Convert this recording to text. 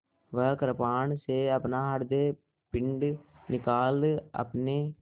वह कृपाण से अपना हृदयपिंड निकाल अपने